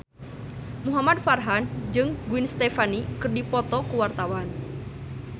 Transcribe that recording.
Muhamad Farhan jeung Gwen Stefani keur dipoto ku wartawan